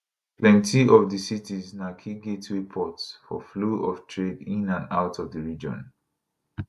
plenti of di cities na key gateway ports for flow of trade in and out of di region